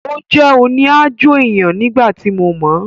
Ó jẹ́ òní-aájò èèyàn nígbà tí mo mọ̀ọ́